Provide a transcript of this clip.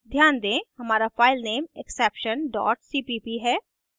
ध्यान दें हमारा file exception cpp है